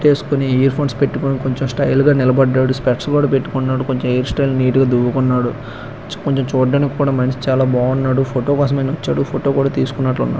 Alphonse పెట్టుకొని కొంచం style గా నిలబడ్డాడు. స్టేట్సు పెట్టుకున్నాడు. కొంచెం నీట్ గా దువ్వుకున్నాడు. చూడ్డానికి కూడా మనకి చాలా బాగున్నాడు. ఫోటో లు ఫొటోలు తీసుకున్నట్లు ఉ--